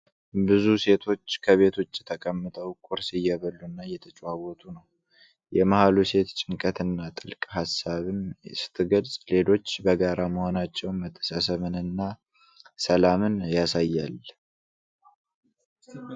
ብዙ ሴቶች ከቤት ውጭ ተቀምጠው ቁርስ እየበሉና እየተጨዋወቱ ነው። የመሃሉ ሴት ጭንቀትን እና ጥልቅ ሀሳብን ስትገልጽ፣ ሌሎች በጋራ መሆናቸው መተሳሰብንና ሰላምን ያሳያል።